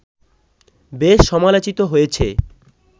বেশ সমালোচিত হয়েছে